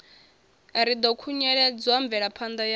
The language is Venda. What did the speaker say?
ri ḓo khunyeledza mvelaphanda ya